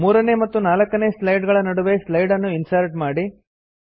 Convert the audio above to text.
3ನೇ ಮತ್ತು 4ನೇ ಸ್ಲೈಡ್ ಗಳ ನಡುವೆ ಸ್ಲೈಡ್ ನ್ನು ಇನ್ಸರ್ಟ್ ಮಾಡಿ